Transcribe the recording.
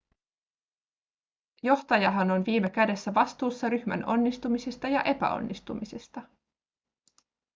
johtajahan on viime kädessä vastuussa ryhmän onnistumisista ja epäonnistumisista